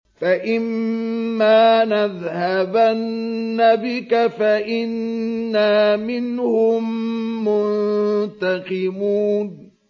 فَإِمَّا نَذْهَبَنَّ بِكَ فَإِنَّا مِنْهُم مُّنتَقِمُونَ